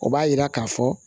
O b'a yira k'a fɔ